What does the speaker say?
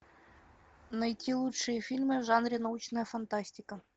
найти лучшие фильмы в жанре научная фантастика